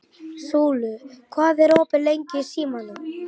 Súla, hvað er opið lengi í Símanum?